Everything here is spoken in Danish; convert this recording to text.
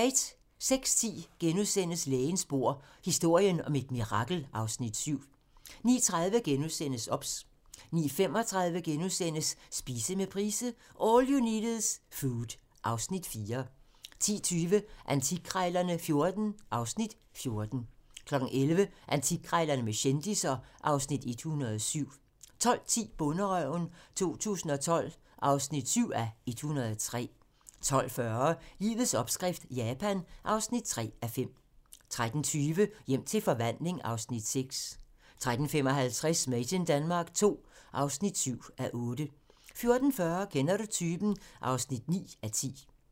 06:10: Lægens bord: Historien om et mirakel (Afs. 7)* 09:30: OBS * 09:35: Spise med Price - All you need is food (Afs. 4)* 10:20: Antikkrejlerne XIV (Afs. 14) 11:00: Antikkrejlerne med kendisser (Afs. 107) 12:10: Bonderøven 2012 (7:103) 12:40: Livets opskrift - Japan (3:5) 13:20: Hjem til forvandling (Afs. 6) 13:55: Made in Denmark II (7:8) 14:40: Kender du typen? (9:10)